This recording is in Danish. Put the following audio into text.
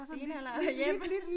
Stenalderhjem?